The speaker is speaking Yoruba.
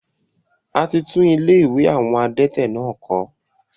A ti tún ilé àwọn adẹ́tẹ̀ náà kọ̀